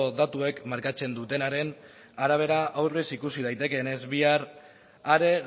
datuek markatzen dutenaren arabera aurrez ikusi daitekeenez bihar are